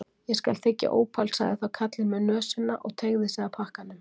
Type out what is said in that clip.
ÉG skal þiggja ópal sagði þá karlinn með nösina og teygði sig að pakkanum.